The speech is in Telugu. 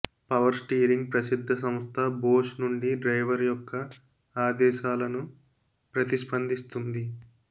పవర్ స్టీరింగ్ ప్రసిద్ధ సంస్థ బోష్ నుండి డ్రైవర్ యొక్క ఆదేశాలను ప్రతిస్పందిస్తుంది